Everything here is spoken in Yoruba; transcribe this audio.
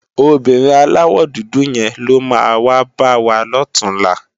Óbìrín àláwò dúdú yén ló má wá bàwá lòtúnlá